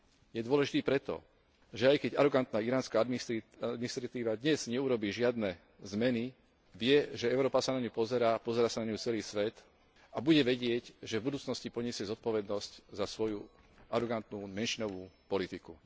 Je dôležitý preto, že aj keď arogantná iránska administratíva dnes neurobí žiadne zmeny, vie, že Európa sa na ňu pozerá a pozerá sa na ňu celý svet, a bude vedieť, že v budúcnosti ponesie zodpovednosť za svoju arogantnú menšinovú politiku.